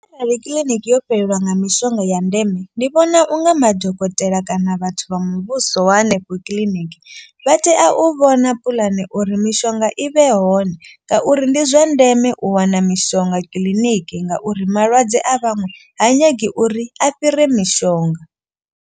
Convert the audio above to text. Arali kiḽiniki yo fhelelwa nga mishonga ya ndeme ndi vhona unga madokotela kana vhathu vha muvhuso wa henefho kiḽiniki. Vha tea u vhona puḽane uri mishonga i vhe hone. Ngauri ndi zwa ndeme u wana mishonga kiḽiniki ngauri malwadze a vhaṅwe ha nyagi uri a fhire mishonga.